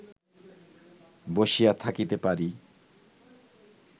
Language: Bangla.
বসিয়া থাকিতে পারি